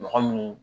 Mɔgɔ minnu